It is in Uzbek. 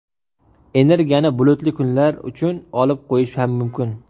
Energiyani bulutli kunlar uchun olib qo‘yish ham mumkin.